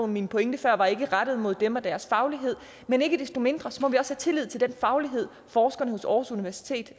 min pointe før var ikke rettet mod dem og deres faglighed men ikke desto mindre må vi også have tillid til den faglighed forskerne ved aarhus universitet